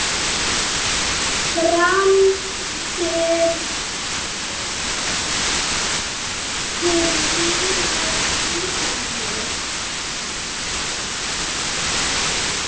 Framtíð mín á Ítalíu?